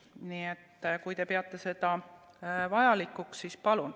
Nii et kui te peate seda vajalikuks, siis palun.